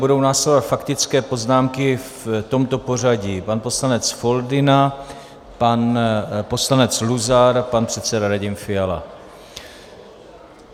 Budou následovat faktické poznámky v tomto pořadí: pan poslanec Foldyna, pan poslanec Luzar, pan předseda Radim Fiala.